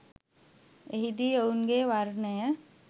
එහිදී ඔවුන්ගේ වර්ණය